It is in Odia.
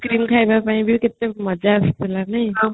ଖାଇବା ପାଇଁ ବି କେତେ କେତେ ମଜା ଆସୁଥିଲା ନେଇ